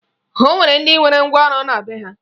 O nwere ndị nwere ngwaọrụ na be ha